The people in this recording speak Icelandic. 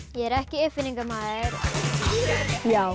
ég er ekki uppfinningamaður já